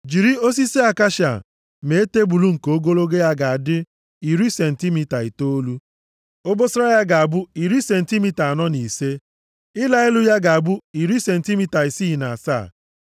“Jiri osisi akashia mee tebul nke ogologo ya ga-adị iri sentimita itoolu. Obosara ya ga-abụ iri sentimita anọ na ise. Ịla elu ya ga-abụ iri sentimita isii na asaa.